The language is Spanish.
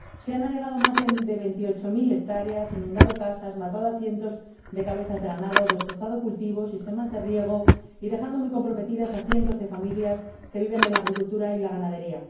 Se han anegado más de veintiocho mil hectáreas, inundado casas, matado a cientos de cabezas de ganado y destrozado cultivos, y sistemas de riego, dejando muy comprometidas a cientos de familias que viven de la agricultura y la ganadería.